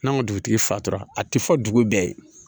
N'an ka dugutigi fatura a ti fɔ dugu bɛɛ ye